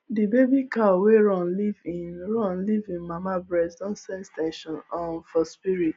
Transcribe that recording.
the baby cow wey run leave hin run leave hin mama breast don sense ten sion um for spirit